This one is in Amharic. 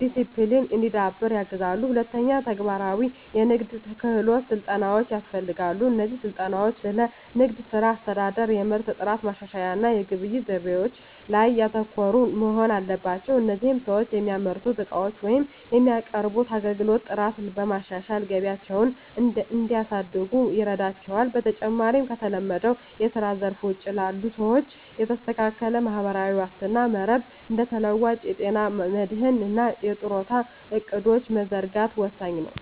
ዲሲፕሊን እንዲዳብር ያግዛሉ። ሁለተኛ፣ ተግባራዊ የንግድ ክህሎት ስልጠናዎች ያስፈልጋሉ። እነዚህ ስልጠናዎች ስለ ንግድ ሥራ አስተዳደር፣ የምርት ጥራት ማሻሻያ እና የግብይት ዘይቤዎች ላይ ያተኮሩ መሆን አለባቸው። ይህም ሰዎች የሚያመርቱትን ዕቃዎች ወይም የሚያቀርቡትን አገልግሎት ጥራት በማሻሻል ገቢያቸውን እንዲያሳድጉ ይረዳቸዋል። በመጨረሻም፣ ከተለመደው የስራ ዘርፍ ውጪ ላሉ ሰዎች የተስተካከለ ማህበራዊ ዋስትና መረብ (እንደ ተለዋዋጭ የጤና መድህን እና የጡረታ ዕቅዶች) መዘርጋት ወሳኝ ነው።